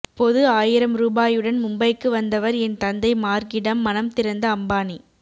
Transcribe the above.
பொது ஆயிரம் ரூபாயுடன் மும்பைக்கு வந்தவர் என் தந்தை மார்கிடம் மனம் திறந்த அம்பானி